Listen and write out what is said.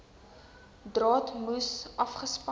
draad moes afgespan